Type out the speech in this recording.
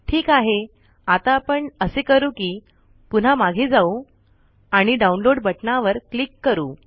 ठीक आहे आता आपण असे करू कि पुन्हा मागे जाऊ आणि डाउनलोड बटनावर क्लिक करू